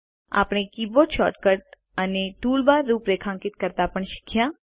આપણે keyboard shortcut અને toolbar રૂપરેખાંકિત કરતા પણ શીખ્યા